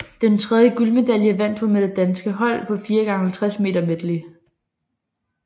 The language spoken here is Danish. Den tredje guldmedalje vandt hun med det danske hold på 4x50 meter medley